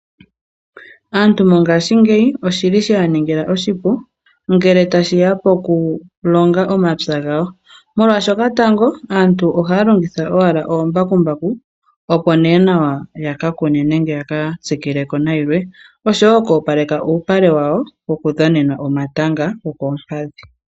Aantu mongashingeyi oshi li sheya ningila oshipu ngele tashiya pokulonga omapya gawo. Molwaashoka tango aantu ohaya longitha owala omambakumbaku opo nee nawa ya ka kune nenge ya ka tsikile ko nayilwe, osho wo oku opaleka uupale wawo woku dhanena okatanga kokoompadhi.